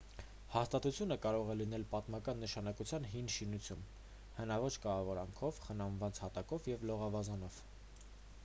հաստատությունը կարող է լինել պատմական նշանակության հին շինություն հնաոճ կահավորանքով խնամված հատակով և լողավազանով